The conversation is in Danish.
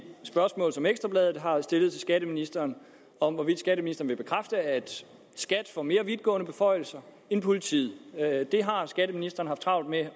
spørgsmål som ekstra bladet har stillet til skatteministeren om hvorvidt skatteministeren vil bekræfte at skat får mere vidtgående beføjelser end politiet det har skatteministeren haft travlt med at